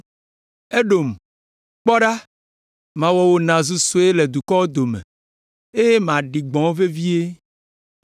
“Edom, kpɔ ɖa, mawɔ wò nàzu sue le dukɔwo dome eye maɖi gbɔ̃ wò vevie.